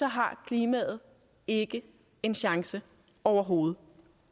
har klimaet ikke en chance overhovedet